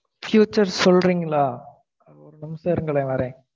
futures சொல்றீங்களா? ஒரு நிமிஷம் இருங்களேன் வரேன்